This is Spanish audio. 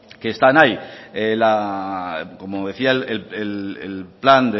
que están ahí como decía el plan